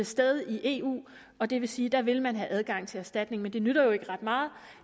sted i eu og det vil sige at der vil man have adgang til erstatning men det nytter jo ikke ret meget